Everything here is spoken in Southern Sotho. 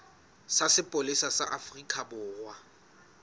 sa sepolesa sa afrika borwa